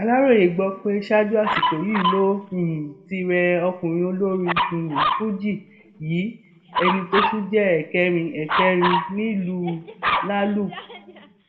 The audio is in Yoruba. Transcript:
aláròye gbọ pé ṣáájú àsìkò yìí ló um ti rẹ ọkùnrin olórin um fuji yìí ẹni tó tún jẹ ẹkẹrin ẹkẹrin nílùú lalúp